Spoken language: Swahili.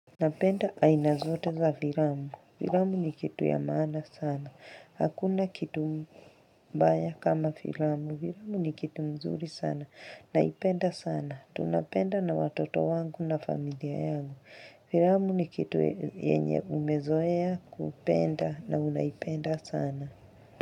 Napenda aina zote za filamu. Filamu ni kitu ya maana sana. Hakuna kitu mbaya kama filamu. Viramu ni kitu mzuri sana. Naipenda sana. Tunapenda na watoto wangu na familia yangu. Filamu ni kitu yenye umezoea kupenda na unaipenda sana.